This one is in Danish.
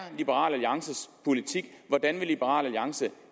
liberal alliances politik hvordan vil liberal alliance